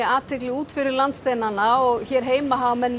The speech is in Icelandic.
athygli út fyrir landsteinana og hér heima hafa menn